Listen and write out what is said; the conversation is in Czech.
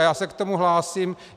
A já se k tomu hlásím.